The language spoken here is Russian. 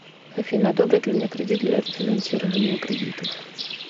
афина одобрят ли мне кредит для рефинансирования кредитов